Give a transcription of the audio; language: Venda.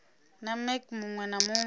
na mec muwe na muwe